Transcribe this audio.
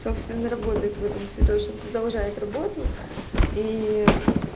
собственно работает в этом цветочном продолжает работу и